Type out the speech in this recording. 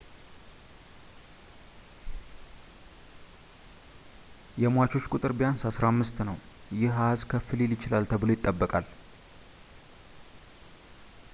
የሟቾች ቁጥር ቢያንስ 15 ነው ፣ ይህ አኃዝ ከፍ ሊል ይችላል ተብሎ ይጠበቃል